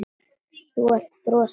Þú ert frosin.